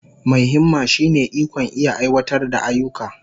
Mai himma shine ikon iya aiwatar da ayyuka.